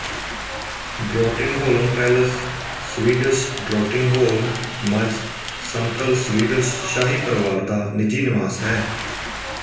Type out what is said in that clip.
ਡ੍ਰੋਟਿੰਗਹੋਲਮ Palace Swedish Drottningholms ਸਮਤਲ Swedish ਸ਼ਾਹੀ ਪਰਿਵਾਰ ਦਾ ਨਿੱਜੀ ਨਿਵਾਸ ਹੈ